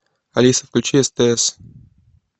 алиса включи стс